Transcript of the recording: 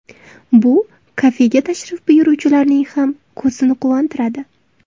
Bu kafega tashrif buyuruvchilarning ham ko‘zini quvontiradi.